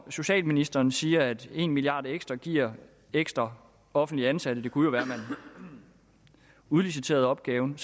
socialministeren siger at en milliard kroner ekstra giver ekstra offentligt ansatte det kunne være man udliciterede opgaven